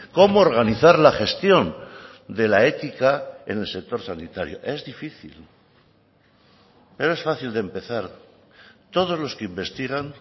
cómo organizar la gestión de la ética en el sector sanitario es difícil pero es fácil de empezar todos los que investigan